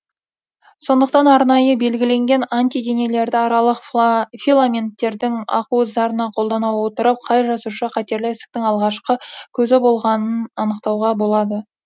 сондықтан арнайы белгіленген антиденелерді аралық филаменттердің ақуыздарына қолдана отырып қай жасуша қатерлі ісіктің алғашқы көзі болғанын анықтауға болады